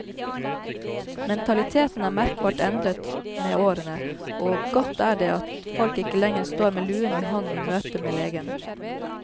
Mentaliteten er merkbart endret med årene, og godt er det at folk ikke lenger står med luen i hånden i møtet med legen.